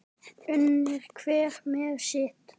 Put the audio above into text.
Unir hver með sitt.